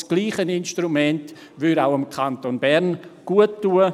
Dasselbe Instrument würde auch dem Kanton Bern guttun.